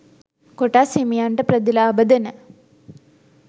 කොටස් හිමියන්ට ප්‍රතිලාභ දෙන